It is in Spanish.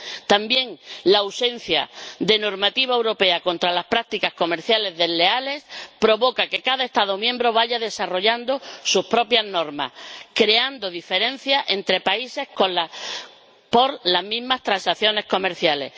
También la ausencia de normativa europea contra las prácticas comerciales desleales provoca que cada Estado miembro vaya desarrollando su propia norma, creando diferencias entre países por las mismas transacciones comerciales.